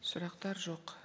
сұрақтар жоқ